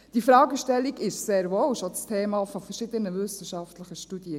Die Fragestellung war sehr wohl schon das Thema verschiedener wissenschaftlicher Studien;